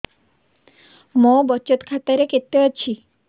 ମୋ ବଚତ ଖାତା ରେ କେତେ ଅଛି